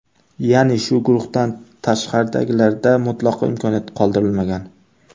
Ya’ni, shu guruhdan tashqaridagilarda mutlaqo imkoniyat qoldirilmagan.